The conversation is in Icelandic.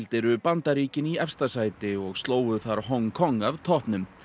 eru Bandaríkin í efsta sæti og slógu þar Hong Kong af toppnum